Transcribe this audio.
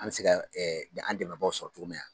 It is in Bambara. An bɛ se ka an dɛmɛbaaw sɔrɔ cogo min na.